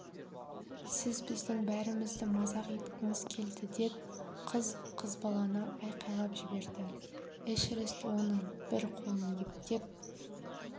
сіз біздің бәрімізді мазақ еткіңіз келді деп қыз қызбалана айқайлап жіберді эшерест оның бір қолын ептеп